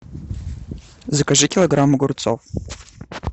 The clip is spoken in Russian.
закажи килограмм огурцов